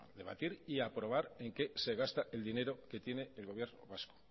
debatir y aprobar en qué se gasta el dinero que tiene el gobierno vasco